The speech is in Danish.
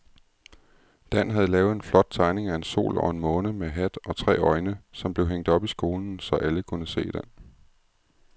Dan havde lavet en flot tegning af en sol og en måne med hat og tre øjne, som blev hængt op i skolen, så alle kunne se den.